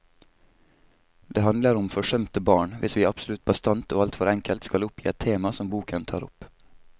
Det handler om forsømte barn, hvis vi absolutt bastant og alt for enkelt skal oppgi et tema som boken tar opp.